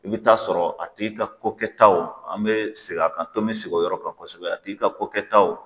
I bɛ taa sɔrɔ a tigi ka kokɛtaw an bɛ segin a kan tomi sigi o yɔrɔ kan kosɛbɛ a tigi ka kokɛtaw